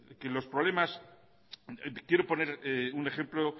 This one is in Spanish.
quiero poner un ejemplo